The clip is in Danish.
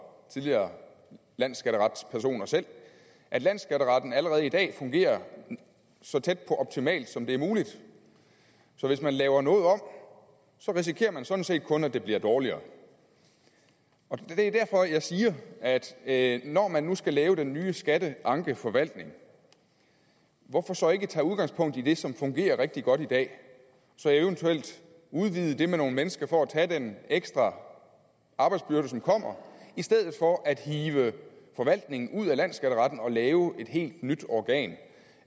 tidligere landsskatteretspersoner selv at landsskatteretten allerede i dag fungerer så tæt på optimalt som det er muligt så hvis man laver noget om risikerer man sådan set kun at det bliver dårligere det er derfor jeg siger at at når man nu skal lave den nye skatteankeforvaltning hvorfor så ikke tage udgangspunkt i det som fungerer rigtig godt i dag og så eventuelt udvide det med nogle mennesker for at tage den ekstra arbejdsbyrde som kommer i stedet for at hive forvaltningen ud af landsskatteretten og lave et helt nyt organ